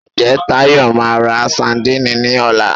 Ǹjẹ́ Táyọ̀ máa ra sandíìnì ní ọ̀la?